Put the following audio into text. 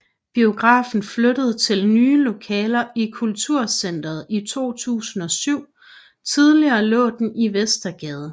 Biografen flyttede til nye lokaler i Kulturcenteret i 2007 Tidligere lå den i Vestergade